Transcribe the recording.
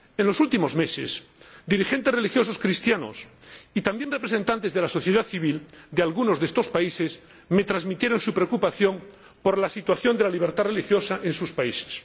En los últimos meses, dirigentes religiosos cristianos y también representantes de la sociedad civil de algunos de estos países me transmitieron su preocupación por la situación de la libertad religiosa en sus países.